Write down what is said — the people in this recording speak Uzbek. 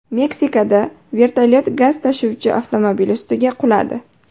Meksikada vertolyot gaz tashuvchi avtomobil ustiga quladi.